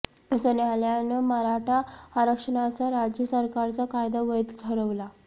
उच्च न्यायालयानं मराठा आरक्षणाचा राज्य सरकारचा कायदा वैध ठरवला